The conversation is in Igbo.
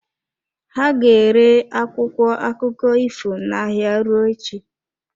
Ha ka ga-ere akwụkwọ akụkọ ifo n'ahịa ruo echi.